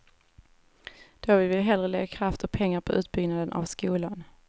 Då vill vi hellre lägga kraft och pengar på utbyggnaden av skolan.